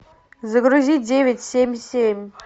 загрузи девять семь семь